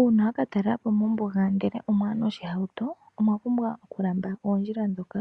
Uuna waka talelapo mombuga ndele omwaya noshihauto omwa pumbwa oku lamba oondjila ndhoka